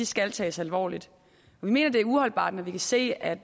skal tages alvorligt og vi mener det er uholdbart at vi kan se at